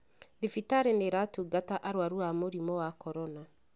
thibitarĩ nĩ iratũngata aruaru as murimũ wa korona.